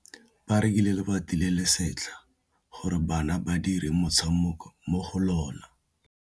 Ba rekile lebati le le setlha gore bana ba dire motshameko mo go lona.